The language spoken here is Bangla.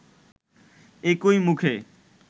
একই মুখে